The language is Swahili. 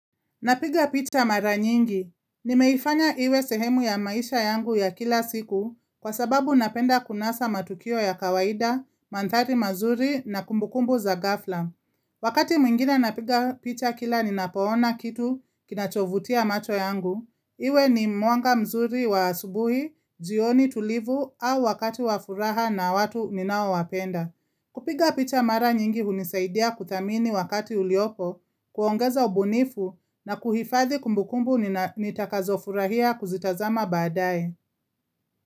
Napiga picha mara nyingi. Nimeifanya iwe sehemu ya maisha yangu ya kila siku kwa sababu napenda kunasa matukio ya kawaida, mandhari mazuri na kumbukumbu za ghafla. Wakati mwingine napiga picha kila ninapoona kitu kinachovutia macho yangu. Iwe ni mwanga mzuri wa asubuhi, jioni tulivu au wakati wa furaha na watu ninaowapenda. Kupiga picha mara nyingi hunisaidia kuthamini wakati uliopo, kuongeza ubunifu na kuhifadhi kumbukumbu nitakazofurahia kuzitazama baadae.